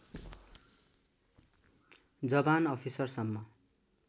जबान अफिसरसम्म